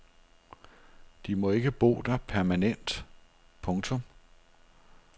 De må ikke bo der permanent. punktum